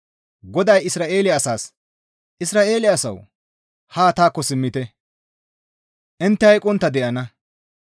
GODAY Isra7eele asaas, «Isra7eele asawu! Haa taakko simmite; intte hayqqontta de7ana.